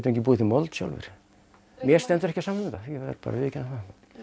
ekki búið til mold sjálfir mér stendur ekki á sama um þetta ég verð bara að viðurkenna það